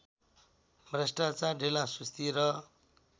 भ्रष्टाचार ढिलासुस्ती र